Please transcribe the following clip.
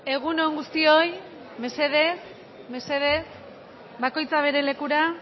egun on guztioi mesedez bakoitza bere lekura